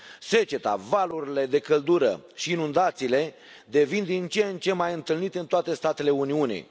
Seceta, valurile de căldură și inundațiile devin din ce în ce mai întâlnite în toate statele Uniunii.